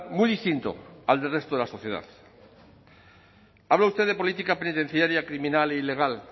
muy distinto al del resto de la sociedad habla usted de política penitenciaria criminal e ilegal